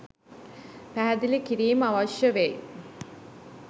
පැහැදිලි කිරීම් අවශ්‍ය වෙයි.